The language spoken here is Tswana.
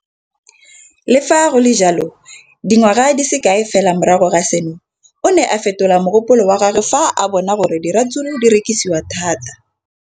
Le fa go le jalo, dingwaga di se kae fela morago ga seno, o ne a fetola mogopolo wa gagwe fa a bona gore diratsuru di rekisiwa thata.